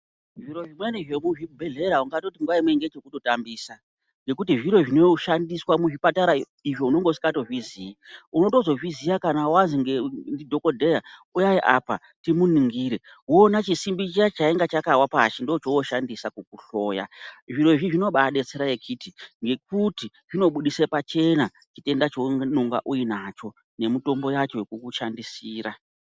Zviro izvi pane zvekuzvibhedhlera ungatoti nguva imwe ndechekutambisa ngekuti zviro izvi zvinenge zvichishandiswa muzvipatara izvi unenge usingatozvizivi, unotozozviziva kana wazenge ndidhokodheya uyayi apa ndimuningire oonachisimbi chiya chainga chakawa pasi ndoo chooshandisa kukuhloya, zvirozvi zvinobaabetsera ngekuti zvinobudisa pachena chitenda chaunonga uinacho nemitombo yacho yekukushandisira.